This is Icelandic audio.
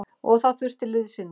Og það þurfti liðsinni.